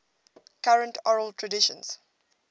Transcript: current oral traditions